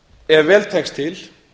ef vel tekst til